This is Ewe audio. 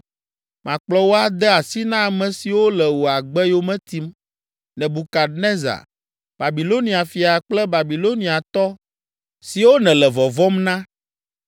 Makplɔ wò ade asi na ame siwo le wò agbe yome tim, Nebukadnezar, Babilonia fia kple Babiloniatɔ siwo nèle vɔvɔ̃m na.